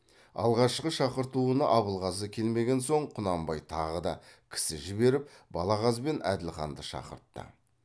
алғашқы шақыртуына абылғазы келмеген соң құнанбай тағы да кісі жіберіп балағаз бен әділханды шақыртты